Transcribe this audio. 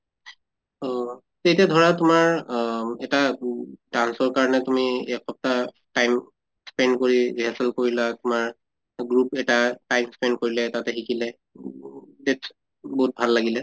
অহ তেতিয়া ধৰা তোমাৰ অম এটা উম dance ৰ কাৰণে তুমি এক সপ্তাহ time spend কৰি rehearsal কৰিলা তোমাৰ group এটা time spend কৰিলে তাতে শিকিলে বহুত ভাল লাগিলে।